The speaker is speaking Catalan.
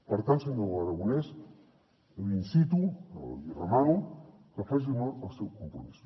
per tant senyor aragonès l’incito li demano que faci honor al seu compromís